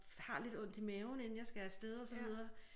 Har lidt ondt i maven inden jeg skal afsted og så videre